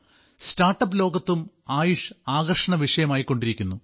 startup ലോകത്തും ആയുഷ് ആകർഷണ വിഷയമായിക്കൊണ്ടിരിക്കുന്നു